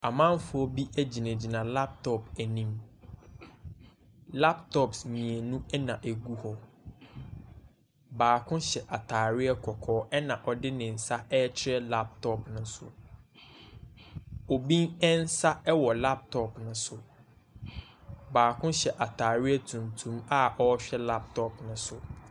Amanfoɔ bi gyinagyina laptop anim. Laptops mmienu na ɛgu hɔ. Baako kyɛ atareɛ kɔkɔɔ, ɛnna ɔde ne nsa rekyerɛ laptop no so. Obi nsa wɔ laptop no so. Baako hyɛ atareɛ tuntum a ɔrehwɛ laptop no so.